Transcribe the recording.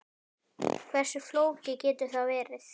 Hversu flókið getur það verið?